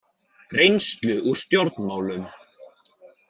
Reynslu úr stjórnmálum?